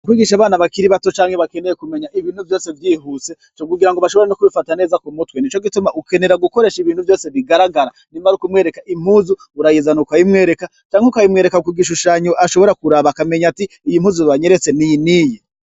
Kwigisha abana bakiri bato canke, bakeneye kumenya ibintu vyose vyihuse co kugira ngo bashobora no kubifata neza ku mutwe. Nico gituma ukenera gukoresha ibintu vyose bigaragara, nimba ari ukumwereka impuzu, urayizana uka yimwereka, canke ukayimwereka ku gishushanyo ashobora kuraba, akamenya ati iyi mpuzu banyeretse ni iyi n'iyi.